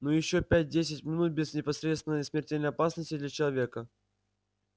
ну и ещё пять-десять минут без непосредственной смертельной опасности для человека